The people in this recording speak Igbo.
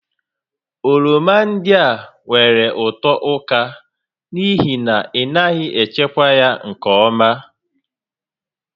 Oroma ndị a nwèrè ụtọ ụka n'ihi na ị naghị echekwa ya nke ọma